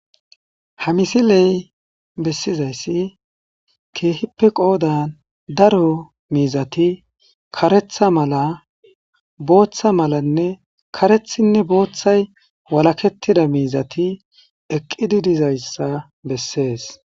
ha misiley bessizayssi keehippe qoodan daro miizati karetha mala booththa malanne karethinne booththay walakettida miizati eqqidi dizayssa bessees.